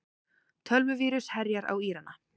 Tölvuvírus herjar á Írana